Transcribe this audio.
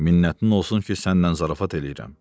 Minnətin olsun ki, səndən zarafat eləyirəm.